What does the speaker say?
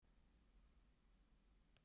Guðbjarni, hvaða vikudagur er í dag?